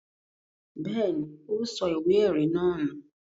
Bẹ́ẹ̀ ni, ó sọ ìwé-ẹ̀rí náà nù.